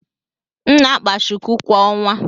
M na-akpa shuku kwa ọnwa.